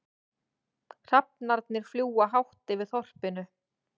Hrafnarnir fljúga hátt yfir þorpinu.